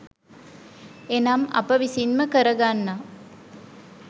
එනම් අප විසින්ම කර ගන්නා